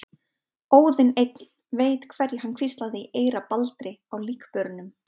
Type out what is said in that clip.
Óðinn einn veit hverju hann hvíslaði í eyra Baldri á líkbörunum.